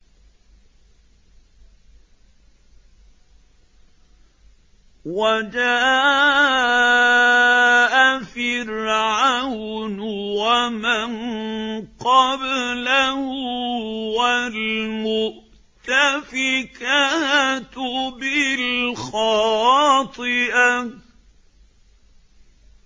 وَجَاءَ فِرْعَوْنُ وَمَن قَبْلَهُ وَالْمُؤْتَفِكَاتُ بِالْخَاطِئَةِ